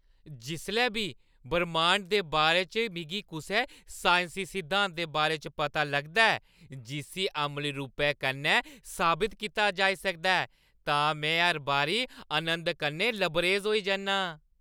जिसलै बी ब्रह्मांड दे बारे च मिगी कुसै साइंसी सिद्धांत दे बारे च पता लगदा ऐ जिस्सी अमली रूप कन्नै साबत कीता जाई सकदा ऐ तां में हर बारी आनंद कन्नै लबरेज होई जन्नां।